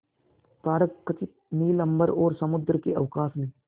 तारकखचित नील अंबर और समुद्र के अवकाश में